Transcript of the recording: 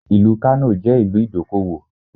Ìlú Kano jẹ́ ìlú ìdókòwò.